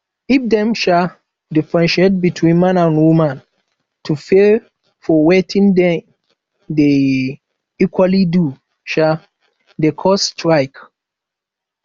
if dem um diffentiaate between man and woman to pay for wetin them de um equaly do um de cause strike